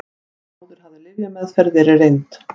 Áður hafði lyfjameðferð verið reynd